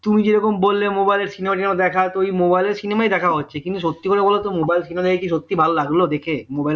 তুমি যেইরকম বললে mobile সিনেমা টিনেমা দেখা তো ওই mobile এর সিনেমা দেখা হচ্ছে কিন্তু সত্যি করে বোলো তো mobile এ সিনেমা সত্যি ভালো লাগলো দেখে mobile এ দেখে